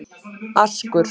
Askur